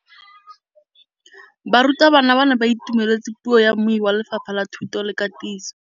Barutabana ba ne ba itumeletse puô ya mmui wa Lefapha la Thuto le Katiso.